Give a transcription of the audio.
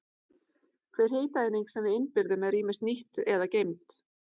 hver hitaeining sem við innbyrðum er ýmist nýtt eða geymd